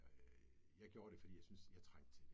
Øh jeg gjorde det fordi jeg synes, jeg trængte til det